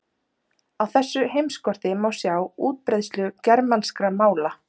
Á þessu heimskorti má sjá útbreiðslu germanskra mála.